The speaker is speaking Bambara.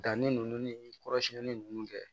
Danni ninnu ni kɔrɔsiyɛnni ninnu kɛ